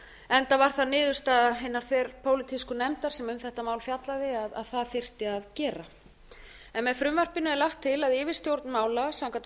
enda var það niðurstaða hinnar þverpólitísku nefndar sem um þetta mál fjallaði að það þyrfti að gera með frumvarpinu er lagt til að yfirstjórn mála samkvæmt